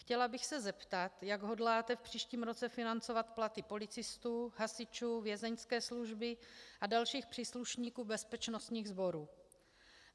Chtěla bych se zeptat, jak hodláte v příštím roce financovat platy policistů, hasičů, vězeňské služby a dalších příslušníků bezpečnostních sborů.